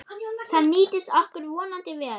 Það nýtist okkur vonandi vel.